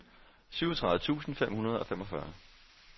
syvogtredive tusind fem hundrede og femogfyrre